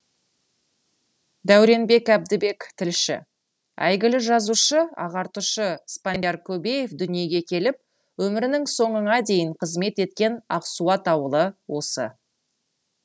дәуренбек әбдібек тілші әйгілі жазушы ағартушы спандияр көбеев дүниеге келіп өмірінің соңына дейін қызмет еткен ақсуат ауылы осы